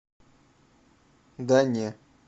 да не